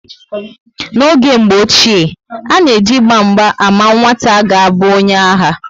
N'oge mgbe ochie, a na eji Ịgba mgba ámá nwata ga abụ onye agha